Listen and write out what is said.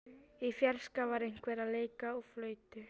Í fjarska var einhver að leika á flautu.